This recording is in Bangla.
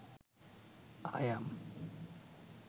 I am